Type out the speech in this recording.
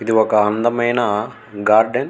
ఇది ఒక అందమైన గార్డెన్ .